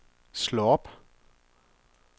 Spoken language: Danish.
slå op